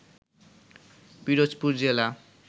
পিরোজপুর জেলা